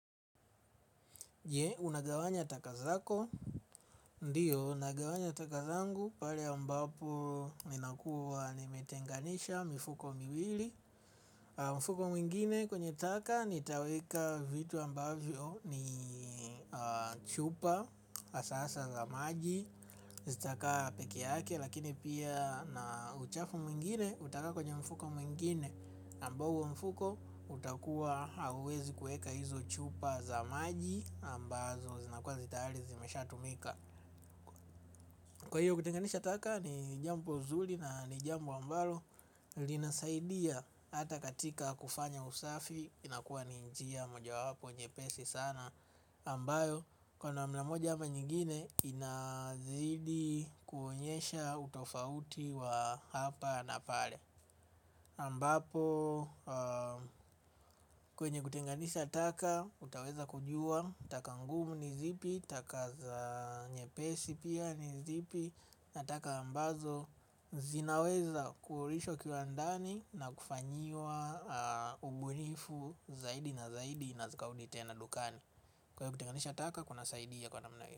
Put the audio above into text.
Unagawanya taka zako, ndiyo unagawanya taka zangu pale ambapo ninakua nimetenganisha mifuko miwili. Mfuko mwingine kwenye taka nitaweka vitu ambavyo ni chupa hasasa za maji zitaka pekee yake lakini pia na uchafu mwingine utaka kwenye mfuko mwingine ambao huo mfuko utakuwa hauwezi kuweka hizo chupa za maji ambazo zinakuwa zitayari zimeshatumika. Kwa hiyo kutenganisha taka ni jambo nzuri na ni jambo ambalo linasaidia hata katika kufanya usafi. Inakuwa ni njia moja wapo nyepesi sana ambayo kwa namna moja ama nyingine inazidi kuonyesha utofauti wa hapa na pale ambapo kwenye kutenganisha taka utaweza kujua taka ngumu ni zipi, taka za nyepesi pia ni zipi. Nataka ambazo zinaweza kurudishwa kiwandani na kufanyiwa ubunifu zaidi na zaidi na zikarudi tena dukani kwa hivyo kutenganisha taka kuna saidia kwa namna hio.